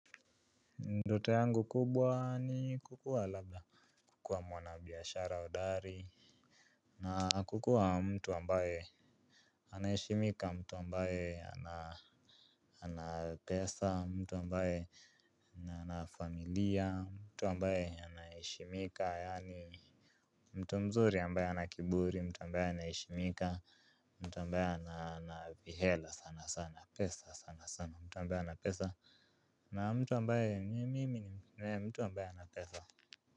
Ndoto yangu kubwa ni kukuwa labda kukuwa mwanabiashara hodari. Na kukuwa mtu ambaye anaheshimika, mtu ambaye ana pesa, mtu ambaye ana familia, mtu ambaye anaheshimika. Yaani mtu mzuri ambaye hana kiburi mtu ambaye anaheshimika mtu ambaye ana vihela sana sana pesa sana sana mtu ambaye ana pesa. Na mtu ambaye mimi mtu ambaye ana pesa.